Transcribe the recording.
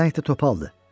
Bu pələng də topaldır.